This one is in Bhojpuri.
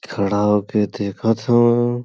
खड़ा होके देखत हउवन।